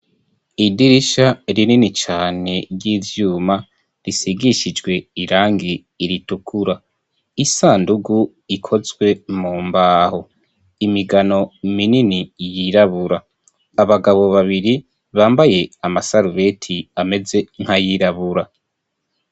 Idirisha rinini cane ry'ivyuma risigishijwe irangi ritukura, isandugu ikozwe mumbaho, imigano minini yirabura, abagabo babiri bambaye amasarubeti ameze nkayirabura.